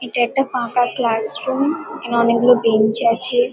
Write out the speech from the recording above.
এইটা একটা ফাঁকা ক্লাসরুম এইখানে অনেক গুলো বেঞ্চ আছে।